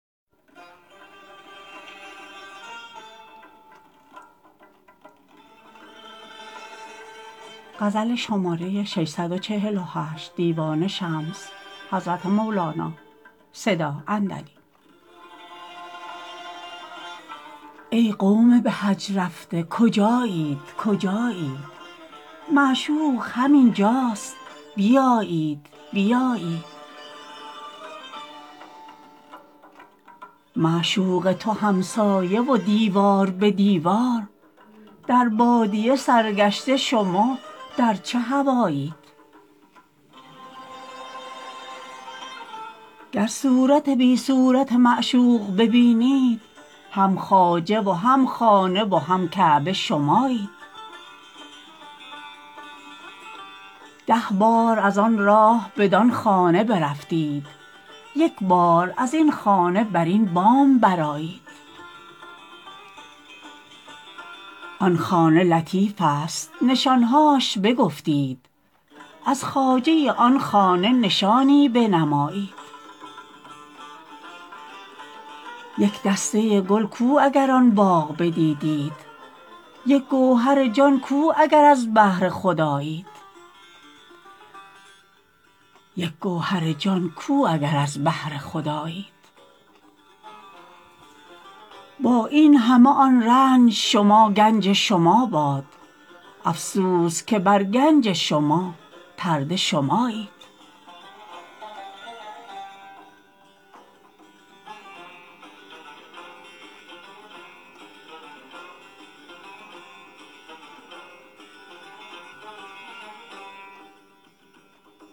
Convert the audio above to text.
ای قوم به حج رفته کجایید کجایید معشوق همین جاست بیایید بیایید معشوق تو همسایه و دیوار به دیوار در بادیه سرگشته شما در چه هوایید گر صورت بی صورت معشوق ببینید هم خواجه و هم خانه و هم کعبه شمایید ده بار از آن راه بدان خانه برفتید یک بار از این خانه بر این بام برآیید آن خانه لطیفست نشان هاش بگفتید از خواجه آن خانه نشانی بنمایید یک دسته گل کو اگر آن باغ بدیدید یک گوهر جان کو اگر از بحر خدایید با این همه آن رنج شما گنج شما باد افسوس که بر گنج شما پرده شمایید